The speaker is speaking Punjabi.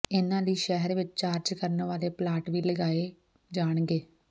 ਇਨ੍ਹਾਂ ਲਈ ਸ਼ਹਿਰ ਵਿਚ ਚਾਰਜ ਕਰਨ ਵਾਲੇ ਪਲਾਂਟ ਵੀ ਲਗਾਏ ਜਾਣਗੇ